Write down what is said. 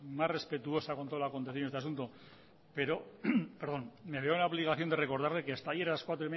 más respetuosa con toda lo acontecido en este asunto pero me veo en la obligación de recordarle que hasta ayer a las dieciséis